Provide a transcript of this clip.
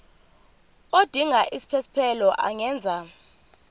odinga isiphesphelo angenza